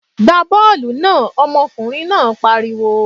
Gbá bọ́ọ̀lù náà! Ọmọkùnrin náà pariwo.